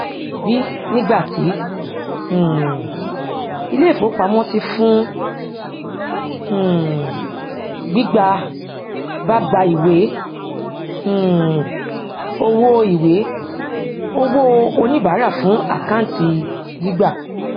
b nígbàtí um ilé ìfowópamọsí fún um gbígbà bá gba ìwé um owó ìwé owóo oníbàárà fún àkáǹtì gbígbà